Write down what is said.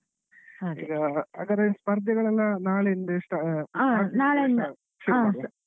ಈಗ ಹಾಗಾದ್ರೆ ಸ್ಪರ್ಧೆಗಳೆಲ್ಲ ನಾಳೆಯಿಂದ start .